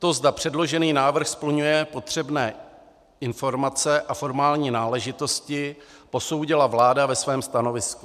To, zda předložený návrh splňuje potřebné informace a formální náležitosti, posoudila vláda ve svém stanovisku.